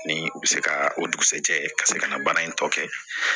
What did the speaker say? Ni u bɛ se ka o dugusɛjɛ ka se ka na baara in tɔ kɛ